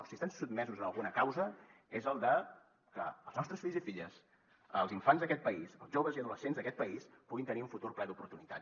si estan sotmesos a alguna causa és la de que els nostres fills i filles els infants d’aquest país els joves i adolescents d’aquest país puguin tenir un futur ple d’oportunitats